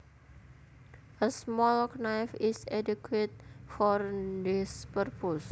A small knife is adequate for this purpose